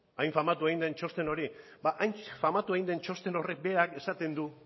hain famatua egin den txosten hori hain famatua egin den txosten horrek berak esaten du